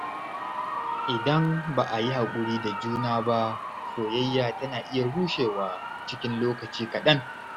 Idan ba a yi haƙuri da juna ba, soyayya tana iya rushewa cikin lokaci kaɗan.